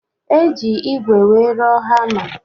Eji ìgwè wee rụọ hama